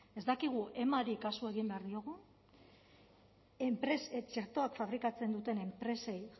ez dakigu emari kasu egin behar diogun txertoak fabrikatzen duten enpresei